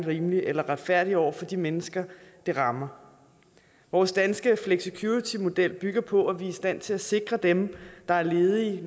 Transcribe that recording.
rimelig eller retfærdig over for de mennesker den rammer vores danske flexicuritymodel bygger på at vi er i stand til at sikre dem der er ledige